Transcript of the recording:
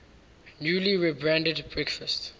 newly rebranded breakfast